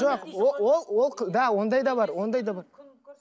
жоқ ол ол ол иә ондай да бар ондай да бар